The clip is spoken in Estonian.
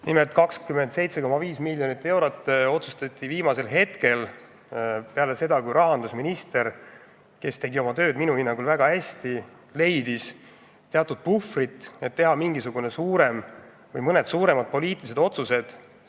Nimelt 27,5 miljonit eurot otsustati viimasel hetkel, peale seda, kui rahandusminister, kes tegi oma tööd minu hinnangul väga hästi, leidis teatud puhvri, et teha mõned suuremad poliitilised otsused.